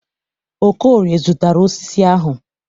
Okorie zụtara osisi ahụ.